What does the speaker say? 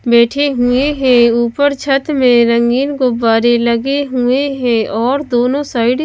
बैठे हुए हैं ऊपर छत में रंगीन गुब्बारे लगे हुए हैं और दोनों साइड --